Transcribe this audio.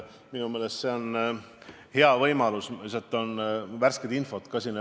Minu meelest see on hea võimalus, sest mul valitsuse poolt ka värsket infot edasi anda.